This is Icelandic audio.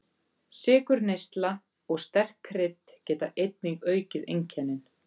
Sykurneysla og sterk krydd geta einnig aukið einkennin.